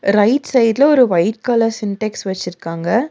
Right சைட்ல ஒரு white colour Sintex வெச்சிருக்காங்க.